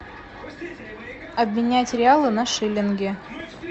обменять реалы на шиллинги